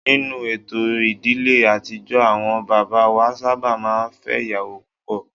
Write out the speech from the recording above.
Ninu eto ìdílé àtijọ́ àwọn bàbá wa sábà máa ń fẹ́ ìyàwó púpọ̀